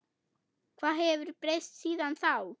Hvað hefur breyst síðan þá?